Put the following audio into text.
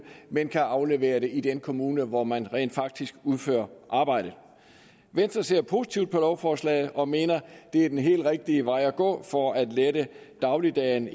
men kan aflevere det i den kommune hvor man rent faktisk udfører arbejdet venstre ser positivt på lovforslaget og mener at det er den helt rigtige vej at gå for at lette dagligdagen